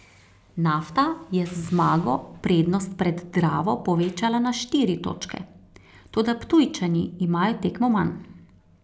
Nafta je z zmago prednost pred Dravo povečala na štiri točke, toda Ptujčani imajo tekmo manj.